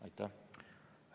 Aitäh!